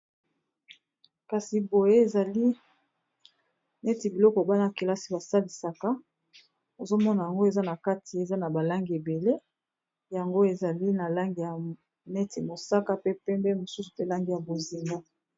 Kasi boye ezali neti biloko bana kelasi basalisaka ozomona yango nakati eza n'a ba langi ebele yango ezali na langi neti ya mosaka pe pembe mosusu ezali na langi ya bozinga